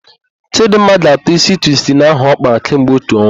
Chịdịmma ga-atọ ísí twistin ahụ ọ kpara kemgbe otu ọnwa.